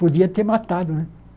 Podia ter matado, né?